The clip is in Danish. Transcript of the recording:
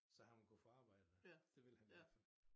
Så han vil kunne få arbejde det vil han i hvert fald